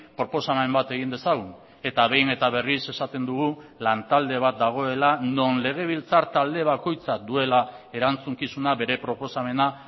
proposamen bat egin dezagun eta behin eta berriz esaten dugu lantalde bat dagoela non legebiltzar talde bakoitzak duela erantzukizuna bere proposamena